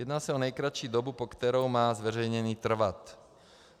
Jedná se o nejkratší dobu, po kterou má zveřejnění trvat.